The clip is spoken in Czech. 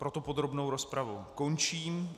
Proto podrobnou rozpravu končím.